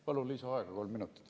Palun lisaaega kolm minutit.